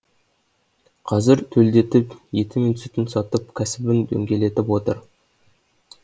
қазір төлдетіп еті мен сүтін сатып кәсібін дөңгелетіп отыр